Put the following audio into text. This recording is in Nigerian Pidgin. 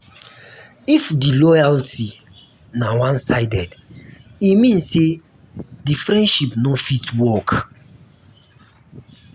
if di loyalty na one sided e mean say de friendship no fit work